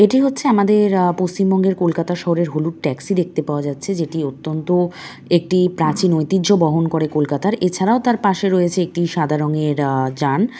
এটি হচ্ছে আহ আমাদের পশ্চিমবঙ্গের কলকাতা শহরের হলুদ ট্যাক্সি দেখতে পাওয়া যাচ্ছে যেটি অত্যন্ত একটি প্রাচীন ঐতিহ্য বহন করে কলকাতার এছাড়াও তার পাশে রয়েছে একটি সাদা রঙের আহ যান।